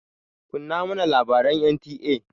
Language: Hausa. Kunna mana labaran NTA!